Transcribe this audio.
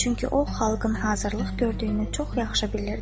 Çünki o xalqın hazırlıq gördüyünü çox yaxşı bilirdi.